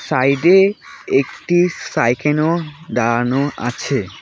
তাইডে একটি সাইকেনও দাঁড়ানো আছে।